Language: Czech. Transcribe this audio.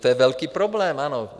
To je velký problém, ano.